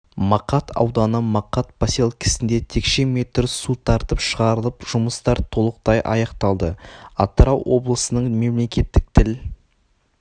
мақат ауданы мақат поселкесінде текше метр су тартып шығарылып жұмыстар толықтай аяқталды атырау облысының мемлекеттік тіл